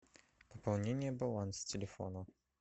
пополнение баланса телефона